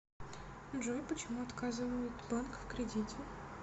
джой почему отказывают банк в кредите